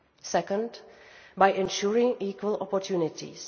Second, by ensuring equal opportunities.